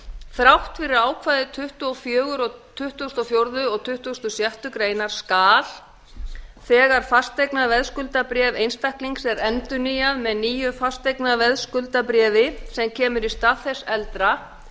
þrátt fyrir ákvæði tuttugasta og fjórða og tuttugasta og sjöttu grein skal þegar fasteignaveðskuldabréf einstaklings er endurnýjað með nýju fasteignaveðskuldabréfi sem kemur í stað þess eldra